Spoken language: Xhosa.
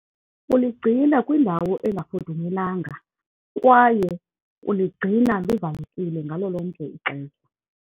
Uligcina kwindawo engafudumelanga kwaye uligcina livalekile ngalo lonke ixesha.